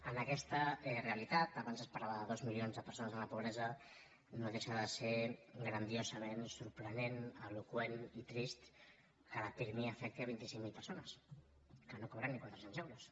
en aquesta realitat abans es parlava de dos milions de persones en la pobresa no deixa de ser grandiosament sorprenent eloqüent i trist que la pirmi afecti vint cinc mil persones que no cobren ni quatre cents euros